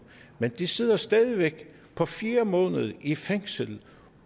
men de sidder stadig væk på fjerde måned i fængsel